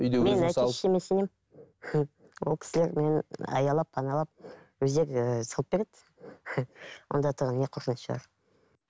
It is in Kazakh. әке шешеме сенемін ол кісілер мені аялап паналап өздері салып береді онда тұрған не қорқыныш бар